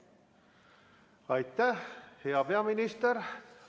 Aitäh, hea peaminister!